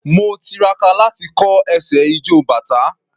Mo tiraka láti kọ́ ẹsẹ̀ ijó bàtá.